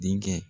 Denkɛ